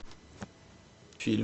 фильм